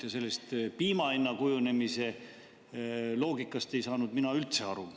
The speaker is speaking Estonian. Ja sellest piima hinna kujunemise loogikast ei saanud mina üldse aru.